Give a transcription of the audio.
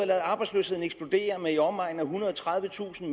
ladet arbejdsløsheden eksplodere med i omegnen af ethundrede og tredivetusind